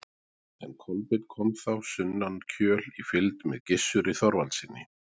en kolbeinn kom þá sunnan kjöl í fylgd með gissuri þorvaldssyni